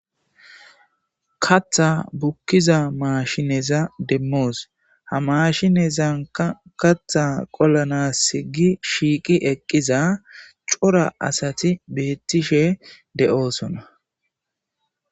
katha bukkiza maashineza demmoos ha mashinezanka katha qollanasi gi shiiqi eqqiza cora asati beettishe de7oosona